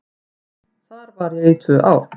Þar var ég í tvö ár.